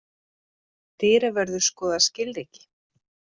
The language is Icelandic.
Dyravörður skoðar skilríki.